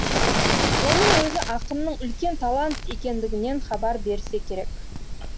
оның өзі ақынның үлкен талант екендігінен хабар берсе керек